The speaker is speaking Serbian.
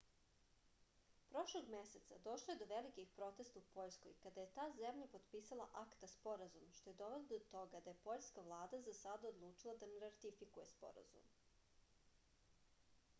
prošlog meseca došlo je do velikih protesta u poljskoj kada je ta zemlja potpisala akta sporazum što je dovelo do toga da je poljska vlada za sada odlučila da ne ratifikuje sporazum